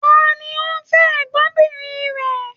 Ta ni o fẹ́ ẹ̀gbọ́nbìnrin rẹ?